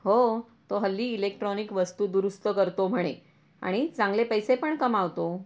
हो तो हल्ली इलेक्ट्रॉनिक वस्तू दुरुस्त करतो म्हणे आणि चांगले पैसे पण कमावतो.